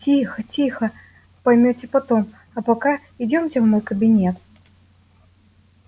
тихо тихо поймёте потом а пока идёмте в мой кабинет